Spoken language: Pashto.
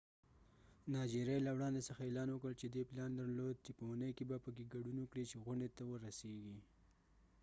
نایجیریا له وړندې څځه اعلان وکړ چې دې پلان درلود چې په اونۍ کې به په afcfta کې ګډون وکړي چې غونډې ته ورسیږي